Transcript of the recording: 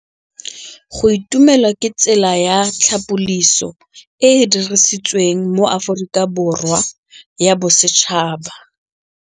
Go itumela ke tsela ya tlhapolisô e e dirisitsweng ke Aforika Borwa ya Bosetšhaba.